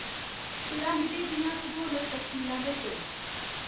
पिरामिडें दियां भूगोलिक तफसीलां दस्सो